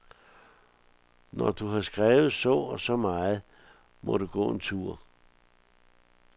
Når du har skrevet så og så meget, må du gå en tur.